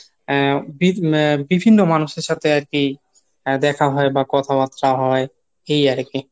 এ বিভিন্ন মানুষের সাথে আরকি দেখা হয় বা কথা বার্তা হয় এই আরকি